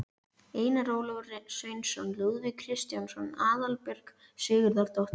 Einar Ólafur Sveinsson, Lúðvík Kristjánsson, Aðalbjörg Sigurðardóttir